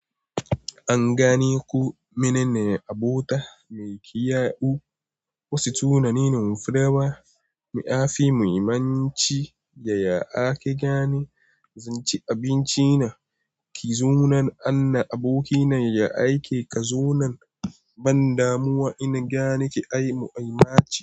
An gane ku. Mene ne abota mai ƙiyau? Wasu tunanin firawa. Muafi muhimmanci yaya ake gane. Inci abinci na Zunan an abokina ya aike ka. Zunan ban damuwa ina gane ki. Ai mu'minaci.